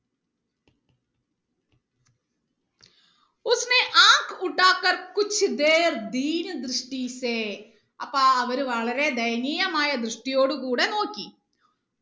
അപ്പൊ അവര് വളരെ ദയനീയമായ ദൃഷ്ടിയോട് കൂടെ നോക്കി